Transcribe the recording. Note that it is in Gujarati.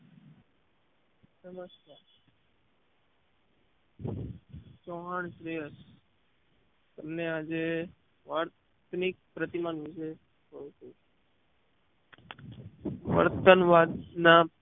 નમસ્કાર ચૌહાણ પ્રિયાંશ તમને આજે વાર્ત્નીક પ્રતિમા નું વર્તન વાંચનાર